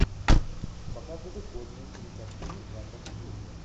показывай годную кинокартину жанра комедия